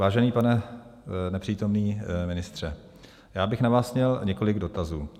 Vážený pane nepřítomný ministře, já bych na vás měl několik dotazů.